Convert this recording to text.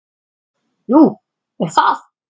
Nú er það?